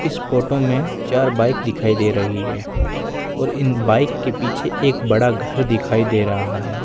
इस फोटो में चार बाइक दिखाई दे रही है और इन बाइक के पीछे एक बड़ा घर दिखाई दे रहा है।